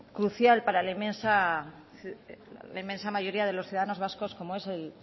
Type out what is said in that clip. crucial para la inmensa mayoría de los ciudadanos vascos como es